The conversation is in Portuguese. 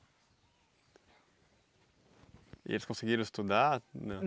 E eles conseguiram estudar não?